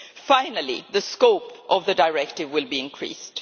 Finally, the scope of the directive will be increased.